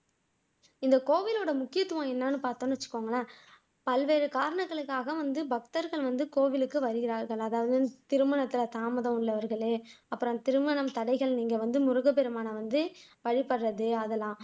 இந்த கோவிலோட முக்கித்துவம் என்னன்னு பாத்தோம்னு வச்சுக்கோங்களேன் பல்வேறு காரணங்களுக்காக வந்து பக்தர்கள் வந்து கோவிலுக்கு வருகிறார்கள் அதாவது வந்து திருமணத்துல தாமதம் உள்ளவர்கள் அப்புறம் திருமணம் தடைகள் நீங்க இங்க வந்து முருகப்பெருமானை வந்து வழிபடுறது அதெல்லாம்